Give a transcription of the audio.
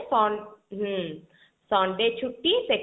ହଁ Sunday ଛୁଟି second